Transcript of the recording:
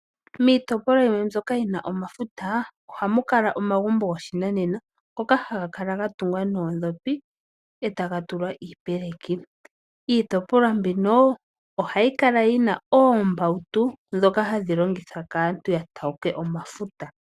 Miitopolwa yimwe mbyoka yi na omafuta, ohamu kala omagumbo goshinanena, ngoka haga kala gatungwa noondhopi eta ga tulwa iyopeleki. Iitopolwa mbino oha yi kala yina oombautu ndhoka ha dhi longithwa kaantu ya take omafuta.